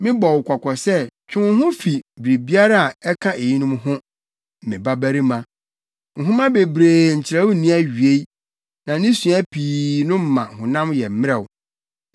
Mebɔ wo kɔkɔ sɛ twe wo ho fi biribiara a ɛka eyinom ho, me babarima. Nhoma bebrebe nkyerɛw nni awiei, na ne sua pii no ma honam yɛ mmerɛw.